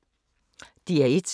DR1